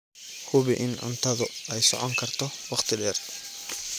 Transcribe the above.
Hubi in cuntadu ay socon karto wakhti dheer.